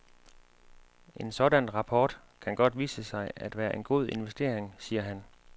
En sådan rapport kan godt vise sig at være en god investering, siger han.